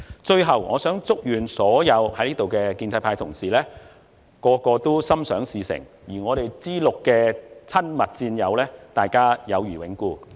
最後，我祝願所有在座的建制派同事心想事成，以及 "G6" 的親密戰友友誼永固。